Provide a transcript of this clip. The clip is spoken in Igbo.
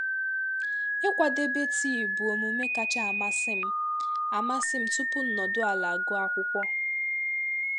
Ịkwadebe tịị bu emume kacha amasim amasim tupu nọdụ ala gụọ akwụkwo